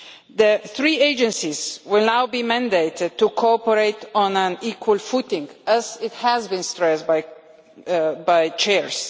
The three agencies will now be mandated to cooperate on an equal footing, as has been stressed by the Chairs.